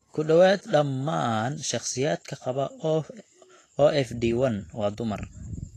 Ku dhawaad ​​dhammaan shakhsiyaadka qaba OFD1 waa dumar.